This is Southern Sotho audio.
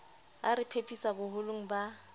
a re phephisa boholong ba